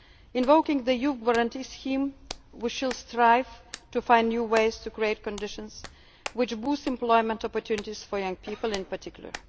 jobs. Invoking the Youth Guarantee scheme, we shall strive to find new ways to create conditions which boost employment opportunities for young people in